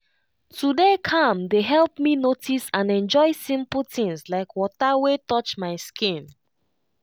to dey calm dey help me notice and enjoy simple things like water wey touch my skin.